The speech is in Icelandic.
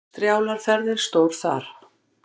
Strjálar ferðir stóð þar.